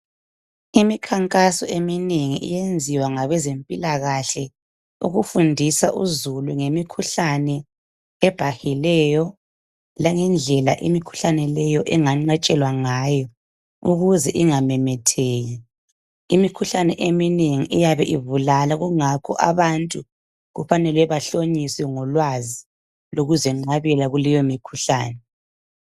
Imikhankaso eminengi iyenziwa ngabezempilakahle ikufundisa uzulu ngemikhuhlane ebhahileyo langendlela imikhuhlane leyo enganqatshelwa ngayo ukuze ingamemetheki imikhuhlane eminengi iyabe ibulala kungakho abantu kufanele bahlonyiswe ngolwazi lokuzenqabela kuleyo mikhuhlane